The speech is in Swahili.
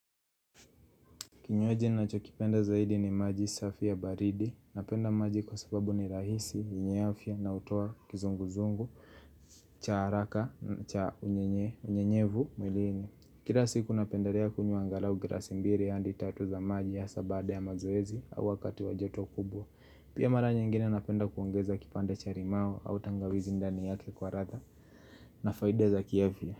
Kinywaki ninacho kipenda zaidi ni maji safi ya baridi, napenda maji kwa sababu ni rahisi, yenye afya na utoa kizunguzungu, cha haraka, cha unyenye, unyenyevu, mwilini. Kila siku napendelea kunywa angalau glasi mbili hadi tatu za maji hasa baada ya mazoezi au wakati wa joto kubwa. Pia mara nyingine napenda kuongeza kipanda cha limau au tangawizi ndani yake kwa radha na faida za kiafya.